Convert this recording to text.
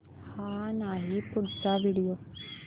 हा नाही पुढचा व्हिडिओ